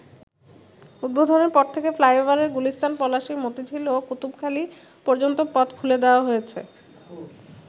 উদ্বোধনের পর থেকে ফ্লাইওভারের গুলিস্তান, পলাশী, মতিঝিল ও কুতুবখালি পর্যন্ত পথ খুলে দেয়া হয়েছে।